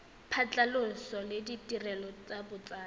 phatlhoso le ditirelo tsa botsadi